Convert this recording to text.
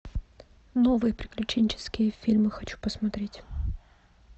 новые приключенческие фильмы хочу посмотреть